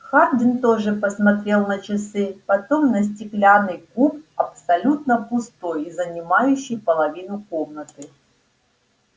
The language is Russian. хардин тоже посмотрел на часы потом на стеклянный куб абсолютно пустой и занимающий половину комнаты